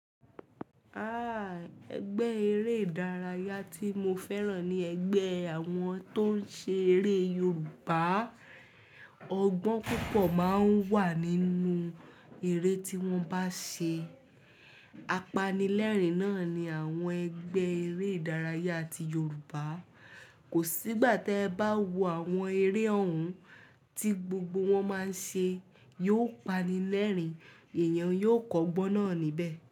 Ah! Ẹgbẹ́ eré ìdárayá tí mo fẹ́ràn ni ẹgbẹ́ àwọn tó ń ṣe eré Yorùbá. Ọgbọ́n púpọ̀ máa ń wà nínú eré tí wọ́n bá ń ṣe. Apanilẹ́rìn-ín náà ni àwọn ẹgbẹ́ eré ìdárayá ti Yorùbá. Kò sí ìgbà tí ẹ bá wo àwọn eré ọ̀hún tí gbogbo wọn máa ń ṣe, yóò pani lẹ́rìn-ín. Ẹ̀yàn yóò kọ́gbọ́n náà níbẹ̀.